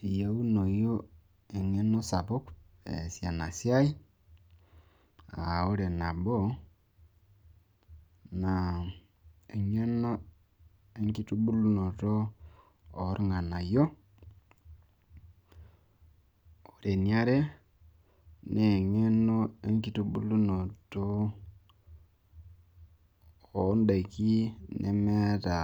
eyieunoi eng'eno sapuk eesie ena siai, ore nabo naa enkitubulunotoo eeorng'anayio, ore eniare naa eng'eno enkitubulunoto oo daiki nemeeta